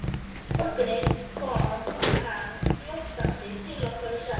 Einn morgun kom hann glottandi til okkar og sagði